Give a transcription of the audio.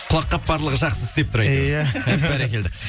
құлақ қатпарлығы жақсы істеп тұр иә бәрекелді